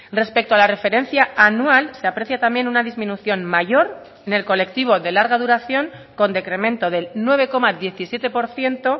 respecto a la referencia anual se aprecia también una disminución mayor en el colectivo de larga duración con decremento del nueve coma diecisiete por ciento